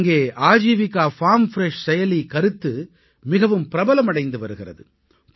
அங்கே Ajeevika farm fresh செயலி கருத்து மிகவும் பிரபலமடைந்து வருகிறது